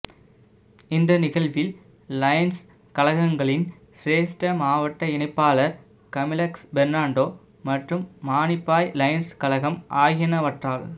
இந்த நிகழ்வில் லயன்ஸ் கழகங்களின் சிரேஸ்ட மாவட்ட இணைப்பாளர் கமிலஸ் பெர்னாண்டோ மற்றும் மானிப்பாய் லயன்ஸ் கழகம் ஆகியனவற்றால்